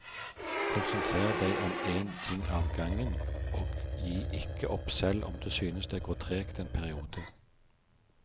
Konsentrer deg om én ting av gangen, og gi ikke opp selv om du synes det går tregt en periode.